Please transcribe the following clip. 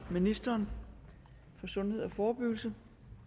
ministeren for sundhed og forebyggelse